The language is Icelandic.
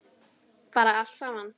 Bara allt saman.